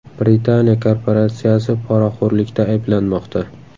Britaniya korporatsiyasi poraxo‘rlikda ayblanmoqda.